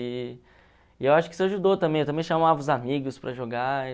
E e eu acho que isso ajudou também, eu também chamava os amigos para jogar.